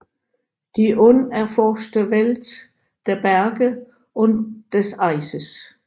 Die unerforschte Welt der Berge und des Eises